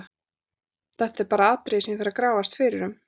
Þetta er bara atriði sem ég þarf að grafast fyrir um.